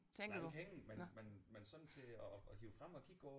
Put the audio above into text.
Nej ikke hængende men men men sådan til at at hive frem og kigge på